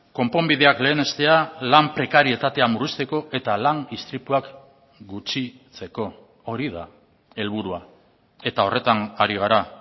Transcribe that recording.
konponbideak lehenestea lan prekarietatea murrizteko eta lan istripuak gutxitzeko hori da helburua eta horretan ari gara